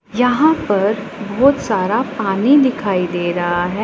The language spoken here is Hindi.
यहां पर बहोत सारा पानी दिखाई दे रहा है।